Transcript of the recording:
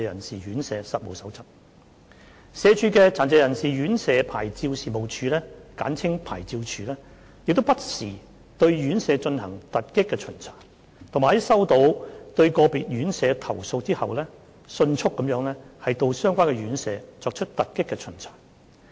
社會福利署的殘疾人士院舍牌照事務處不時對院舍進行突擊巡查，以及在收到對個別院舍投訴後迅速到相關院舍作出突擊巡查。